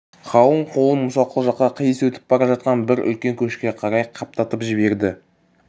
қалың қолын мұсақұл жаққа қиыс өтіп бара жатқан бір үлкен көшке қарай қаптатып жіберді